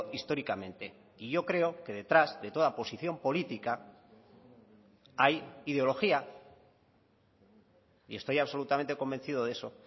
históricamente y yo creo que detrás de toda posición política hay ideología y estoy absolutamente convencido de eso